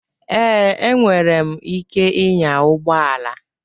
Ee, enwere m ike ịnya ụgbọ ala.